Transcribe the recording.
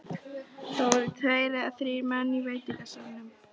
Það voru tveir eða þrír menn í veitingasalnum.